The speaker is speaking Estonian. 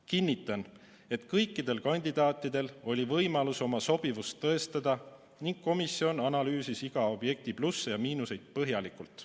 Kinnitan, et kõikidel kandidaatidel oli võimalus oma sobivust tõestada ning komisjon analüüsis iga objekti plusse ja miinuseid põhjalikult.